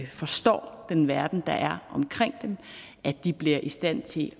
forstår den verden der er omkring dem at de bliver i stand til